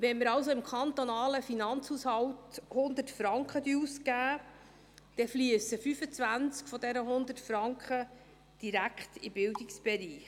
Wenn wir also im kantonalen Finanzhaushalt 100 Franken ausgeben, fliessen 25 dieser 100 Franken direkt in den Bildungsbereich.